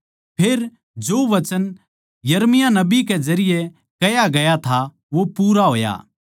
फेर जो वचन यिर्मयाह नबी कै जरिये कह्या ग्या था वो पूरा होया